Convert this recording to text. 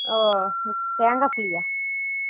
ஓ தேங்கா புளியா